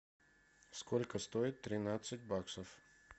сколько стоит тринадцать баксов